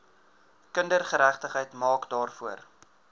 kindergeregtigheid maak daarvoor